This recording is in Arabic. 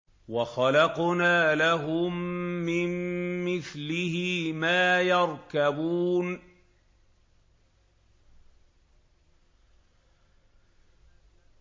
وَخَلَقْنَا لَهُم مِّن مِّثْلِهِ مَا يَرْكَبُونَ